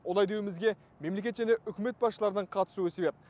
олай деуімізге мемлекет және үкімет басшыларының қатысуы себеп